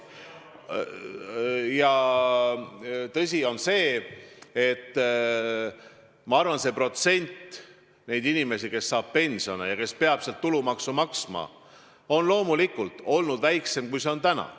Minu arvates on tõsi, et protsent neid inimesi, kes saavad pensioni ja peavad selle pealt tulumaksu maksma, on loomulikult varem olnud väiksem, kui see on täna.